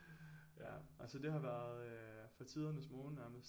Ja altså det har været øh fra tidernes morgen nærmest